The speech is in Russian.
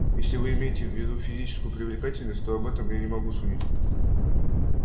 если вы имеете в виду физическую привлекательность то об этом я не могу судить